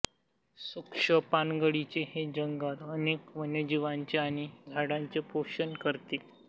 शुष्क पानगळीचे हे जंगल अनेक वन्यजीवांचे आणि झाडांचे पोषण करते